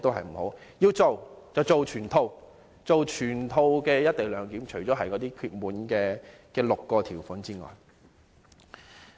如果要做，便做全套，落實全套"一地兩檢"，除了那6項事項外。